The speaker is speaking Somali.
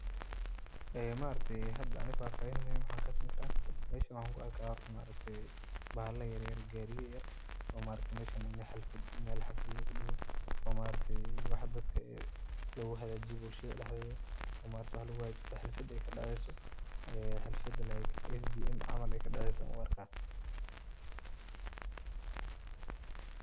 Ee maaragte aniga hada waxa fahfahin muhiim ah kasini kara, meeshan waan kuarka horta maaragte bahala yaryar gariya yaryar oo maaragte meeshan meel xalfad lugudigo oo waxa dadka luguhagajiyo bulshada dhexdeda oo maaragte waxa luguhagajista xalfad ey kadeceyso xaflada like in ey kadeceyso uarka.